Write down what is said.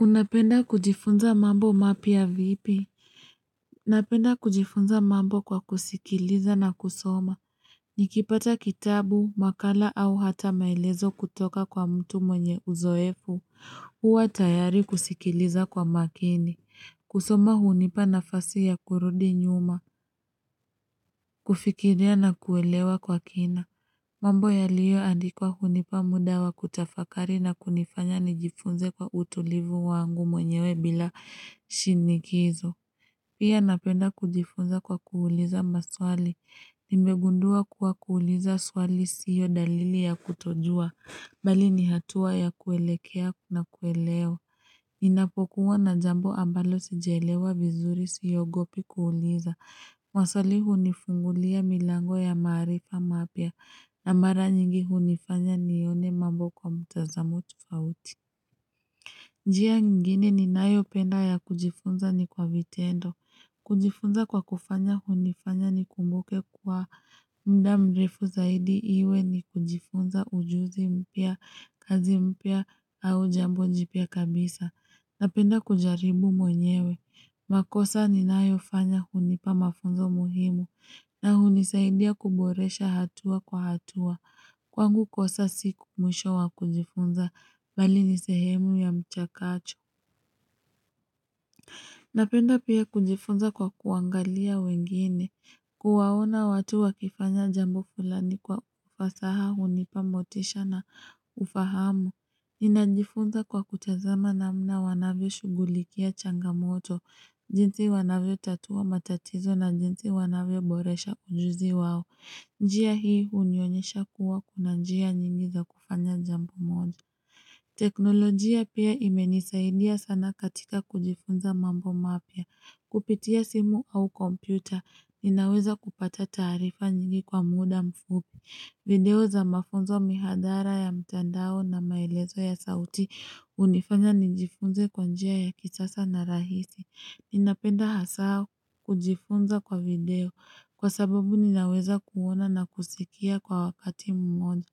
Unapenda kujifunza mambo mapya vipi? Unapenda kujifunza mambo kwa kusikiliza na kusoma. Nikipata kitabu, makala au hata maelezo kutoka kwa mtu mwenye uzoefu. Uwa tayari kusikiliza kwa makini. Kusoma hunipa nafasi ya kurudi nyuma. Kufikiria na kuelewa kwa kina. Mambo ya liyo andikwa hunipa mudawa kutafakari na kunifanya nijifunze kwa utulivu wangu mwenyewe bila. Shinikizo, pia napenda kujifunza kwa kuuliza maswali, nimegundua kuwa kuuliza swali siyo dalili ya kutojua, bali nihatua ya kuelekea kuna kueleo. Ninapokuwa na jambo ambalo sijalewa vizuri siogopi kuuliza, maswali hunifungulia milango ya maarifa mapya, na mara nyingi hunifanya nione mambo kwa mtazamo tofauti. Njia nyingine ni nayo penda ya kujifunza ni kwa vitendo. Kujifunza kwa kufanya hunifanya ni kumbuke kwa mdamrefu zaidi iwe ni kujifunza ujuzi mpya, kazi mpya au jambo jipia kabisa. Napenda kujaribu mwenyewe. Makosa ni nayofanya hunipa mafunzo muhimu. Na hunisaidia kuboresha hatua kwa hatua. Kwangu kosa si mwisho wa kujifunza bali nisehemu ya mchakato. Napenda pia kujifunza kwa kuangalia wengine, kuwaona watu wakifanya jambo fulani kwa ufasaha unipa motisha na ufahamu. Ninajifunza kwa kutazama namna wanavyo shughulikia changamoto, jinsi wanavyo tatua matatizo na jinsi wanavyo boresha ujuzi wao. Njia hii unionyesha kuwa kuna njia nyingi za kufanya jambo moja. Teknolojia pia imenisaidia sana katika kujifunza mambo mapya, kupitia simu au kompyuta, ninaweza kupata tarifa nyingi kwa muda mfupi, video za mafunzo mihadhara ya mtandao na maelezo ya sauti unifanya nijifunze kwanjia ya kichasa na rahisi, ninapenda hasaa kujifunza kwa video kwa sababu ninaweza kuona na kusikia kwa wakati mmoja.